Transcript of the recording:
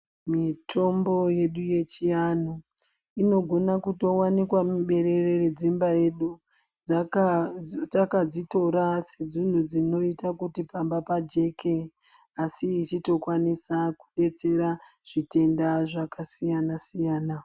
Mitombo yedu yechivanhu inogona kutowanikwa muberere redzimba yedu takadzitora dzichizoita kuti pamba pajeke asi ichitokwanisa kudetsera zvitenda zvakasiyana siyana.